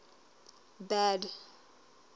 bad